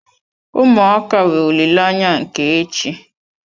Ụmụaka bụ olileanya nke echi.